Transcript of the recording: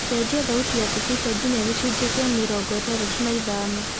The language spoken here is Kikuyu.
cenjĩa thaũtĩ ya thibika nginya gĩcunji gĩa mĩrongo ĩtandatũ na ithano